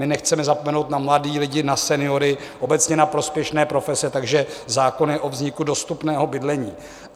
My nechceme zapomenout na mladé lidi, na seniory, obecně na prospěšné profese, takže zákon je o vzniku dostupného bydlení.